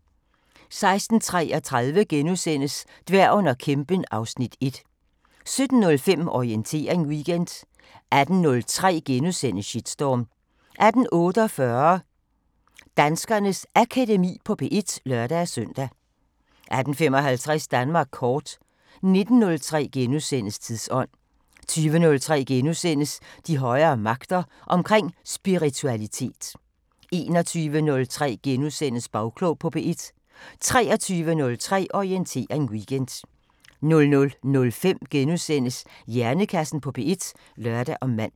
16:33: Dværgen og kæmpen (Afs. 1)* 17:05: Orientering Weekend 18:03: Shitstorm * 18:48: Danskernes Akademi på P1 (lør-søn) 18:55: Danmark kort 19:03: Tidsånd * 20:03: De højere magter: Omkring spiritualitet * 21:03: Bagklog på P1 * 23:03: Orientering Weekend 00:05: Hjernekassen på P1 *(lør og man)